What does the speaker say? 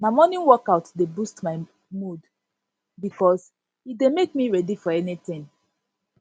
na morning workout dey boost my mood bikos e dey make me ready for anything